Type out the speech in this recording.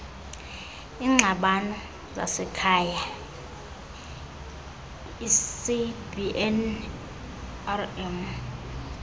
iingxabano zasekhaya icbnrm